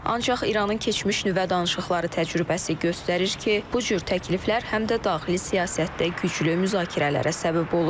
Ancaq İranın keçmiş nüvə danışıqları təcrübəsi göstərir ki, bu cür təkliflər həm də daxili siyasətdə güclü müzakirələrə səbəb olur.